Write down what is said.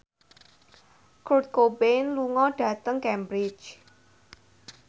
Kurt Cobain lunga dhateng Cambridge